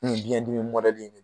Nin biɲɛ dimi don.